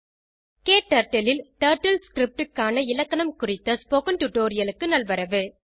க்டர்ட்டில் ல் TurtleScriptக்கான இலக்கணம் குறித்த ஸ்போகன் டுடோரியலுக்கு நல்வரவு